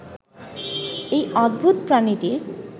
এই অদ্ভূত প্রাণীটি